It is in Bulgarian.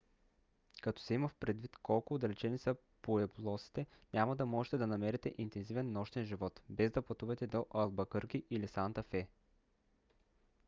като се има предвид колко отдалечени са пуеблосите няма да можете да намерите интензивен нощен живот без да пътувате до албакърки или санта фе